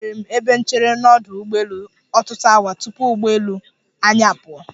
Echeere m ebe nchere n'ọdụ ụgbọelu ọtutụ awa tupu ụgbọelu anyi apụọ.